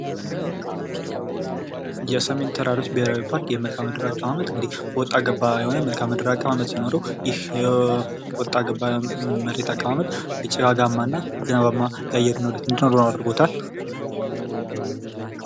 የስሜን ተራሮች ብሔራዊ ፓርክ የመልካም ምድር አቀማመጥ እንግዲህ ወጣገባ የሆነ የመልካም አቀማመጥ ሲኖረው ወጣ ጭጋግአማና ዝናባማ የአየር ንብረት እንዲኖረው አድርጎታል።